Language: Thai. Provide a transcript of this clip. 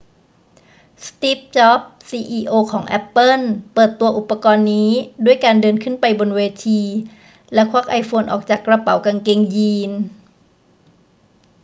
สตีฟ จ็อบส์ ซีอีโอของแอปเปิ้ลเปิดตัวอุปกรณ์นี้ด้วยการเดินขึ้นไปบนเวที แล้วควักไอโฟนออกจากกระเป๋ากางเกงยีน